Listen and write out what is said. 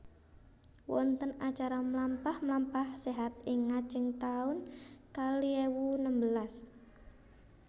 Wonten acara mlampah mlampah sehat ing ngajeng taun kalih ewu nembelas